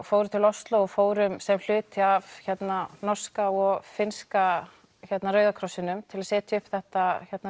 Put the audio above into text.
fórum til Osló og fórum sem hluti af norska og finnska Rauða krossinum til að setja upp þetta